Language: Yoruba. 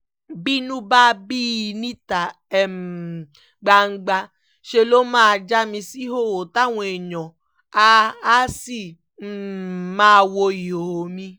bínú bá bí i níta um gbangba ṣe ló máa já mi síhòòhò táwọn èèyàn áà áà sì um máa wo ìhòòhò mi